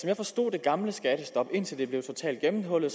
jeg forstod det gamle skattestop indtil det blev totalt gennemhullet